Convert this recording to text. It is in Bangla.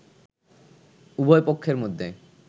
উভয় পক্ষের মধ্যে